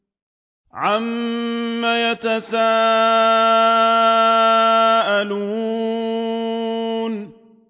عَمَّ يَتَسَاءَلُونَ